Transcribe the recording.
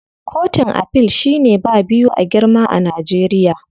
Kotun Afil shine ba biyu a girma a Najeriya.